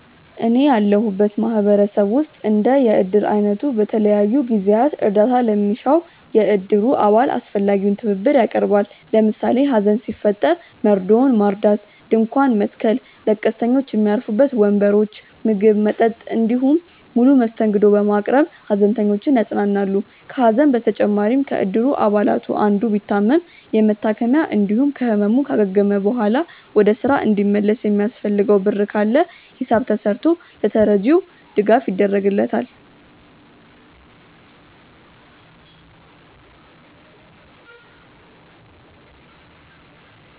እኔ ያለሁበት ማህበረሰብ ውስጥ እንደ የእድር አይነቱ በተለያዩ ጊዜያት እርዳታ ለሚሻው የእድሩ አባል አስፈላጊውን ትብብር ያቀርባል። ለምሳሌ ሀዘን ሲፈጠር መርዶውን ማርዳት፣ ድንኳን መትከል፣ ለቀስተኞች ሚያርፉበት ወንበሮች፣ ምግብ፣ መጠጥ እንዲሁም ሙሉ መስተንግዶ በማቅረብ ሃዘንተኞችን ያጽናናሉ። ከሀዘን በተጨማሪም ከእድር አባላቱ አንዱ ቢታመም የመታከሚያ እንዲሁም ከህመሙ ካገገመ በኋላ ወደ ስራ እንዲመለስ የሚያስፈልገው ብር ካለ ሂሳብ ተስርቶ ለተረጂው ድጋፍ ይደረግለታል።